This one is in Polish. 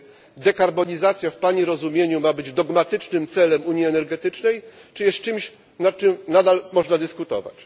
Czy dekarbonizacja w Pani rozumieniu ma być dogmatycznym celem unii energetycznej, czy jest czymś, nad czym nadal można dyskutować?